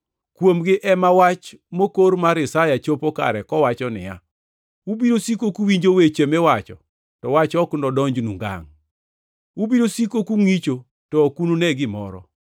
Kuomgi ema wach mokor mar Isaya chopo kare kowacho niya, “ ‘Ubiro siko kuwinjo weche miwacho to wach ok nodonjnu ngangʼ; Ubiro siko kungʼicho to ok unune gimoro.